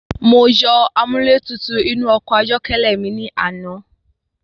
Mo yọ amúlẹ́tutù inú ọkọ̀ ayọ́kẹ́lẹ́ mi ní àná.